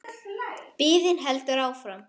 Biðin heldur áfram.